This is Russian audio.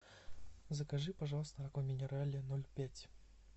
закажи пожалуйста аква минерале ноль пять